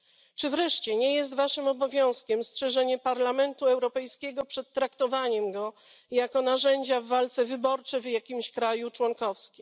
Czy wreszcie nie jest waszym obowiązkiem strzeżenie Parlamentu Europejskiego przed traktowaniem go jako narzędzia w walce wyborczej w jakimś kraju członkowskim?